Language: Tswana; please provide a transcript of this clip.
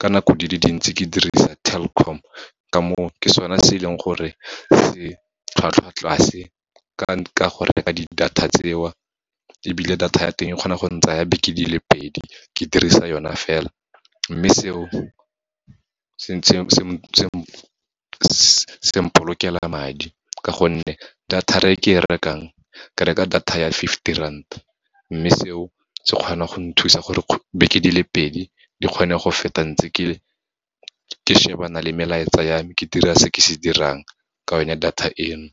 ka nako di le dintsi ke dirisa Telkom. Ka moo, ke sone se leng gore se tlhwatlhwa tlase, ka go reka di-data tseo, ebile data ya teng e kgona go ntsaya di beke di le pedi, ke dirisa yona fela. Mme seo, seng polokela madi, ka gonne data-ra e ke rekeng, ke reka data ya fifty rand, mme seo se kgone go nthusa gore beke di le pedi, di kgone go feta ntse ke shebana le melaetsa ya me, ke dira se ke se dirang, ka yone data eno.